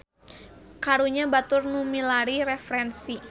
Karunya batur nu milari referensi.